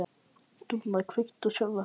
Dúnna, kveiktu á sjónvarpinu.